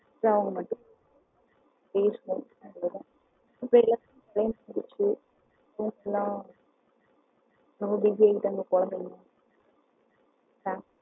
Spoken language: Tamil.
பேசுனோம் அவ்வளவு தான் இப்போ எல்லாரும் குழந்தைக்கன்னு busy ஆயிட்டாங்க